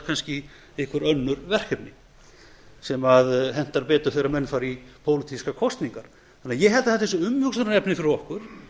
í kannski önnur verkefni sem hentar betur þegar menn fara í pólitískar kosningar þannig að ég held að þetta sé umhugsunarefni fyrir okkur